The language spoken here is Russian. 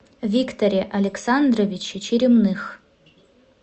викторе александровиче черемных